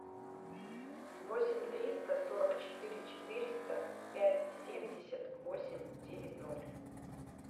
восемь триста сорок четыре четыреста пять семьдесят восемь девять ноль